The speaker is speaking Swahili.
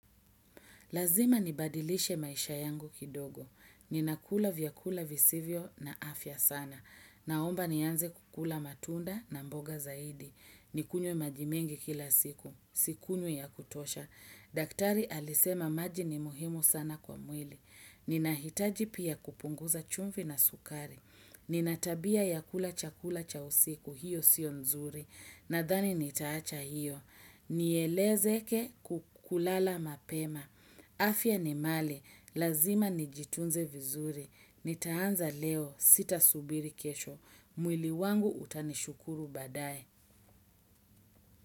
Lazima nibadilishe maisha yangu kidogo. Ninakula vyakula visivyo na afya sana. Naomba nianze kukula matunda na mboga zaidi. Nikunywe maji mengi kila siku. Sikunywi ya kutosha. Daktari alisema maji ni muhimu sana kwa mwili. Ninahitaji pia kupunguza chumvi na sukari. Nina tabia ya kula chakula cha usiku. Hiyo sio nzuri. Nadhani nitaacha hiyo. Nielezeke kulala mapema. Afya ni mali, lazima nijitunze vizuri, nitaanza leo, sitasubiri kesho, mwili wangu utanishukuru baadaye.